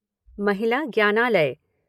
महिला ज्ञानालय